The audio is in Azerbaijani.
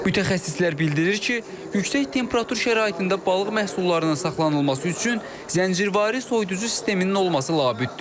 Mütəxəssislər bildirir ki, yüksək temperatur şəraitində balıq məhsullarının saxlanılması üçün zəncirvari soyuducu sisteminin olması labüddür.